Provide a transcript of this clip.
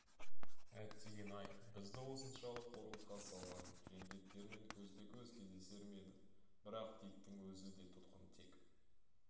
әттеген-ай бізді осыншалық қорлыққа салған жендеттермен көзбе-көз кездесер ме едім бірақ диктің өзі де тұтқын тек